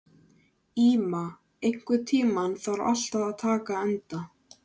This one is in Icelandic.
Íma, einhvern tímann þarf allt að taka enda.